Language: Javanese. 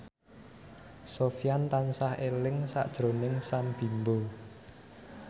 Sofyan tansah eling sakjroning Sam Bimbo